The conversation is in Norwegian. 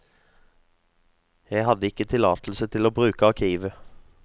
Jeg hadde ikke tillatelse til å bruke arkivet.